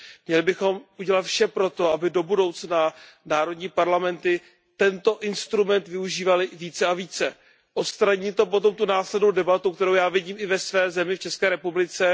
Měli bychom udělat vše pro to, aby do budoucna národní parlamenty tento instrument využívaly více a více. Odstraní to potom tu následnou debatu, kterou já vidím i ve své zemi, v České republice.